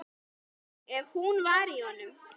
Ef hún var í honum.